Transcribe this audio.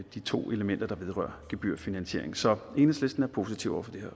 de to elementer der vedrører gebyrfinansiering så enhedslisten er positiv over